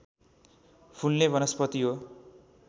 फुल्ने वनस्पति हो